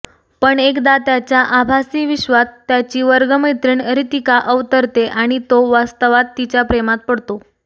पण एकदा त्याच्या आभासी विश्वात त्याची वर्गमैत्रीण रितिका अवतरते आणि तो वास्तवात तिच्या प्रेमात पडतो